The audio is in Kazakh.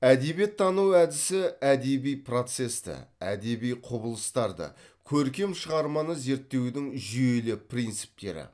әдебиеттану әдісі әдеби процесті әдеби құбылыстарды көркем шығарманы зерттеудің жүйелі принциптері